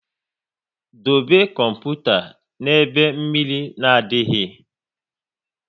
Dobe kọmputa na ebe mmiri na adịghị